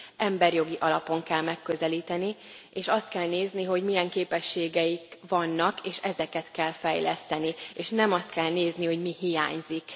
emberjogi alapon kell megközelíteni, és azt kell nézni, hogy milyen képességeik vannak, és ezeket kell fejleszteni, és nem azt kell nézni, hogy mi hiányzik?